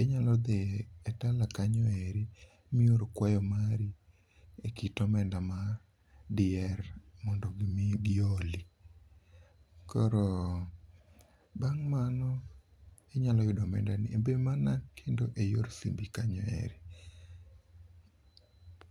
inyalo dhi e Tala kanyo eri mior kwayo mari e kit omenda mar diher mondo mi giholi. Koro bang' mano inyalo yudo omenda ni e be mana kendo e yor simbi kanyo eri.